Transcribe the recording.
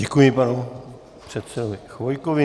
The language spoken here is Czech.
Děkuji panu předsedovi Chvojkovi.